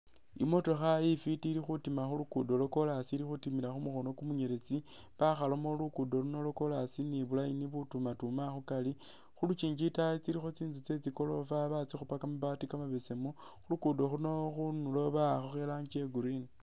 Imotoka ifiti ili khutima khunduro lwa korasi ili khutimila kumukhono kumuyeletsi bakhalamu lugudo luno lwa korasi ni bu line bu tumatuma khukari , khulukyinji itayi iliyo tsitsu tsetsi gorofa batsikhupa kamabaati kamabesemu , khulukudo khuno khunduro bwakhakho iranji iya green.